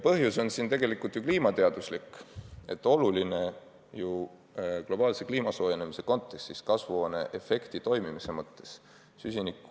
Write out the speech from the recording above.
Põhjus on tegelikult kliimateaduslikult tõestatud ja see on kliima globaalse soojenemise kontekstis, kasvuhooneefekti toimimise mõttes oluline.